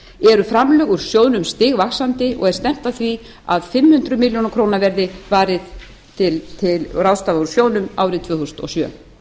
eru framlög úr sjóðnum stigvaxandi og er stefnt að því að fimm hundruð milljónir verði varið til að ráðstafa úr sjóðnum árið tvö þúsund og sjö